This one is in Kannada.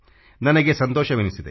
ನನಗೆ ಸಂತೋಷವೆನಿಸಿದೆ